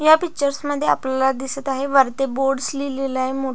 या पिक्चर्स मध्ये आपल्याला दिसत आहे वरती बोर्डस् लिहिलेल आहे मोठ.